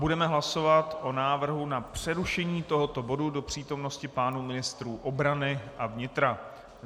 Budeme hlasovat o návrhu na přerušení tohoto bodu do přítomnosti pánů ministrů obrany a vnitra.